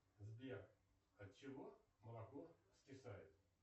сбер от чего молоко скисает